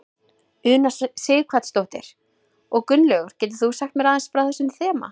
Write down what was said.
Una Sighvatsdóttir: Og Gunnlaugur getur þú sagt mér aðeins frá þessu þema?